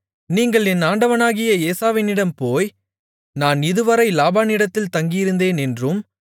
நீங்கள் என் ஆண்டவனாகிய ஏசாவினிடம் போய் நான் இதுவரை லாபானிடத்தில் தங்கியிருந்தேன் என்றும்